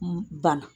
Banna